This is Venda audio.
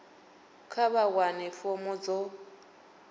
kha vha wane fomo dzo